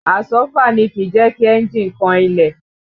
Àsọ́fà ni kìí jẹ́ kí ẹ̀njì kan ilẹ̀